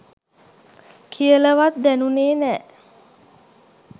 කියලවත් දැනුනේ නෑ.